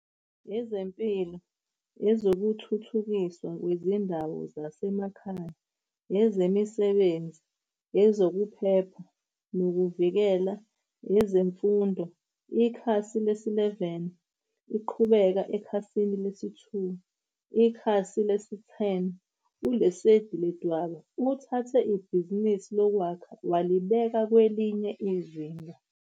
Ezempilo Ezokuthuthukiswa Kwezindawo Zasemakhaya Ezemisebenzi Ezokuphepha Nokuvikeleka EzemfundoIkhasi lesi-11, Iqhubeka ekhasini lesi-2. Ikhasi lesi-10, ULesedi Ledwaba uthathe ibhizinisi lokwakha walibeka kwelinye izinga.